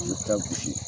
I bɛ taa gosi